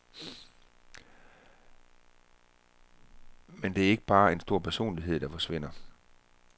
Men det er ikke bare en stor personlighed, der forsvinder.